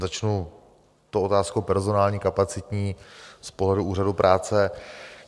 Začnu tou otázkou personální, kapacitní, z pohledu úřadů práce.